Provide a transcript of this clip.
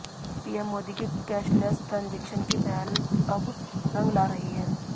PM Modi की cashless transaction की पहल अब रंग ला रही है